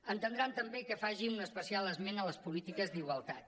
entendran també que faci un especial esment de les polítiques d’igualtat